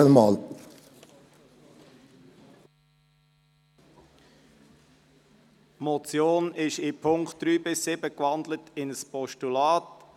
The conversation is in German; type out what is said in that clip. Die Motion ist in den Punkten 3 bis 7 in ein Postulat gewandelt worden.